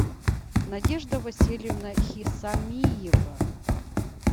надежда васильевна хисамиева